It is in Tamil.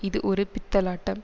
இது ஒரு பித்தலாட்டம்